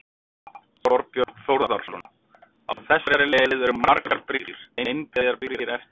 Þorbjörn Þórðarson: Á þessari leið, eru margar brýr, einbreiðar brýr eftir?